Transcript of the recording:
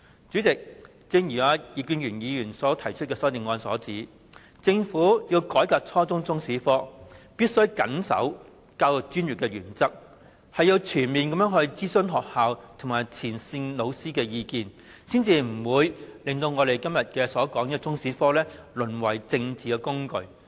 主席，正如葉建源議員提出的修正案所指出，政府要改革初中中史科，便"必須謹守教育專業原則，全面徵詢學校及前線教師的意見"，才不會令我們今天討論的中史科淪為政治工具。